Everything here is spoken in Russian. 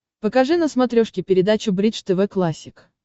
покажи на смотрешке передачу бридж тв классик